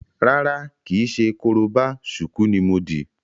Rárá, kìí ṣe korobá, ṣùkú ní mo dì.